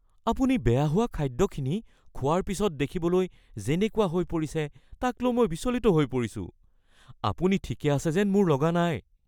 আপুনি বেয়া হোৱা খাদ্যখিনি খোৱাৰ পিছত দেখিবলৈ যেনেকুৱা হৈ পৰিছে তাক লৈ মই বিচলিত হৈ পৰিছোঁ। আপুনি ঠিকে আছে যেন মোৰ লগা নাই।